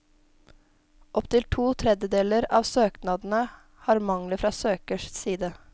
Opp til to tredjedeler av søknadene har mangler fra søkers side.